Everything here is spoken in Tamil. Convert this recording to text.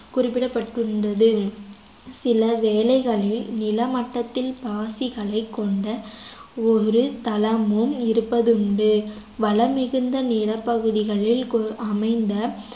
குறிப்பிடபட்டுள்ளது சில வேலைகளில் நில மட்டத்தில் பாசிகளைக் கொண்ட ஒரு தளமும் இருப்பதுண்டு வளம் மிகுந்த நிலப்பகுதிகளில் கு~ அமைந்த